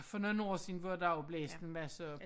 For nogen år siden hvor der jo blæste masser